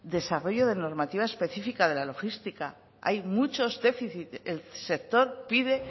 desarrollo de normativa específica de la logística hay muchos déficit el sector pide